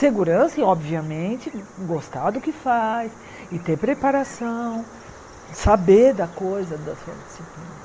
Segurança e, obviamente, gostar do que faz e ter preparação, saber da coisa da sua disciplina